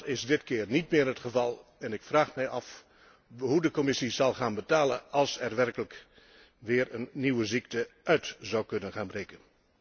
Dat is dit keer niet meer het geval en ik vraag me af hoe de Commissie zal gaan betalen als er werkelijk weer een nieuwe ziekte uit zou breken.